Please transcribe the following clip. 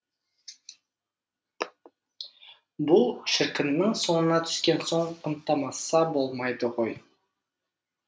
бұл шіркіннің соңына түскен соң құнттамаса болмайды ғой